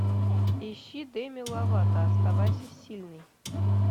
ищи деми ловато оставайся сильной